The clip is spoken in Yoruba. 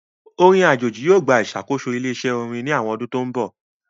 Orin ajeji yoo gba isakoso ile-iṣẹ orin ni awọn ọdun to nbọ.